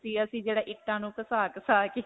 ਅਸੀਂ ਜਿਹੜਾ ਇੱਕ ਤਾਂ .